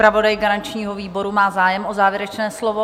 Zpravodaj garančního výboru má zájem o závěrečné slovo?